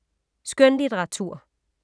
Skønlitteratur